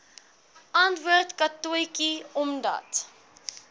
antwoord katotjie omdat